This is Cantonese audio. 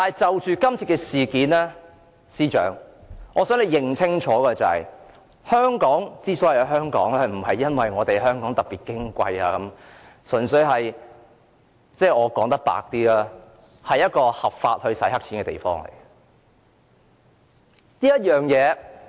就今次的事件，我想司長清楚認識到，香港之所以是香港，不是因為香港特別矜貴，而是因為香港純粹是一個合法洗黑錢的地方。